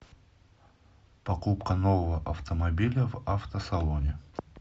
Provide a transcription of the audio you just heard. покупка нового автомобиля в автосалоне